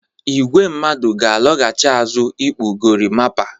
Igwe mmadụ ga-alaghchi azụ n'ikpụ gorimapa.